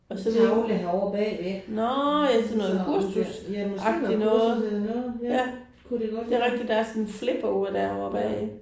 Og så det ikke nåh ja sådan noget kursusagtigt noget ja det er rigtig der er sådan en flipover derovre bagi